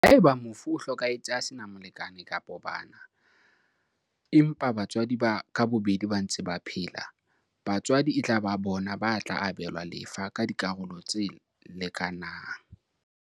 Haeba mofu o hlokahetse a sena molekane kapa bana, empa batswadi ka bobedi ba ntse ba phela, batswadi e tla ba bona ba tla abelwa lefa ka dikarolo tse leka nang.